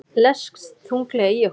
Leggst þunglega í okkur